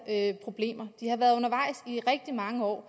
her problemer de har været undervejs i rigtig mange år